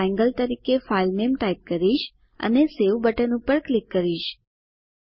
હું ટ્રાયેંગલ તરીકે ફાઇલ નામ ટાઇપ કરીશ અને સવે બટન પર ક્લિક કરીશ